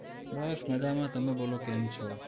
બસ મજામાં, તમે બોલો, કેમ છો?